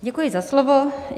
Děkuji za slovo.